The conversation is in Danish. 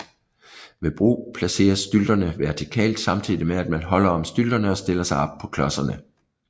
Ved brug placeres stylterne vertikalt samtidig med at man holder om stylterne og stiller sig på klodserne